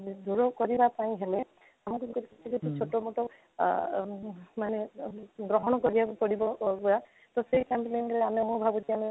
ଦୂର କରିବା ପାଇଁ ହେଲେ ଆମକୁ ଟିକେ ଛୋଟ ମୋଟ ଆଃ ମାନେ ଗ୍ରହଣ କରିବାକୁ ପଡିବ ଅବ୍ୟା ତ ସେଇ campaigning ହେଲେ ମୁଁ ଭାବୁଛି ଆମେ